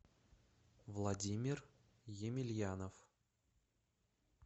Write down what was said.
владимир емельянов